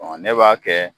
ne b'a kɛ